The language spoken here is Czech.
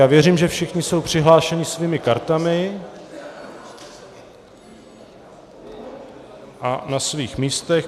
Já věřím, že všichni jsou přihlášeni svými kartami a na svých místech.